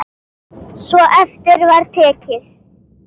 Svo eftir var tekið.